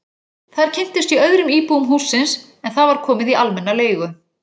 Þar kynntist ég öðrum íbúum hússins en það var komið í almenna leigu.